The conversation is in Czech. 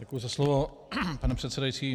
Děkuji za slovo, pne předsedající.